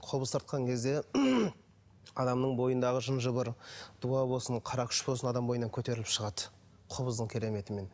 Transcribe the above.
қобыз тартқан кезде адамның бойындағы жын жыбыр дуа болсын қарақшы болсын адамның бойынан көтеріліп шығады қобыздың кереметімен